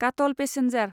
काटल पेसेन्जार